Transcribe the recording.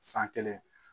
San kelen